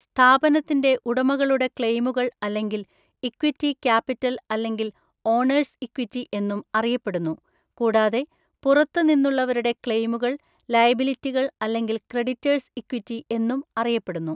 സ്ഥാപനത്തിന്റെ ഉടമകളുടെ ക്ലെയിമുകൾ അല്ലെങ്കിൽ ഇക്വിറ്റി ക്യാപിറ്റൽ അല്ലെങ്കിൽ ഓണേഴ്സ് ഇക്വിറ്റി എന്നും അറിയപ്പെടുന്നു, കൂടാതെ പുറത്തുനിന്നുള്ളവരുടെ ക്ലെയിമുകൾ ലയബിലിറ്റികൾ അല്ലെങ്കിൽ ക്രെഡിറ്റേഴ്സ് ഇക്വിറ്റി എന്നും അറിയപ്പെടുന്നു.